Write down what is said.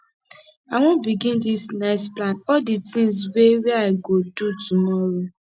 i wan begin dis night plan all di tins wey wey i go do tomorrow